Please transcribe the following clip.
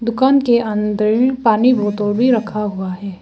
दुकान के अंदर पानी बोतल भी रखा हुआ है।